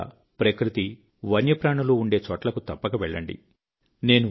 మీరు కూడా ప్రకృతి వన్యప్రాణులు ఉండే చోట్లకు తప్పక వెళ్ళండి